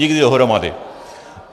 Nikdy dohromady.